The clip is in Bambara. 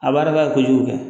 A bara ka kojugu kɛ